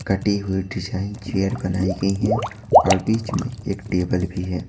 कटी हुई design chair बनाई गई हैं और बीच में एक टेबल भी है।